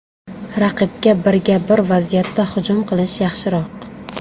Raqibga birga-bir vaziyatda hujum qilish yaxshiroq.